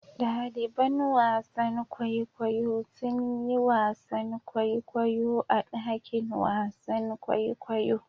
Ɗaliban wasan kwaikwayo sun yi wasan kwaikwayo a dakin wasan kwaikwayo.